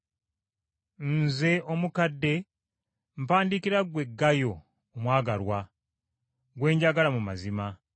Nze, Omukadde, mpandiikira ggwe Gayo omwagalwa, gwe njagala mu mazima.